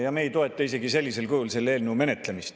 Ja me ei toeta isegi sellisel kujul selle eelnõu menetlemist.